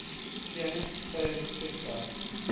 pianist plays thekla